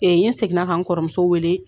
N yen seginna ka n kɔrɔmusow weele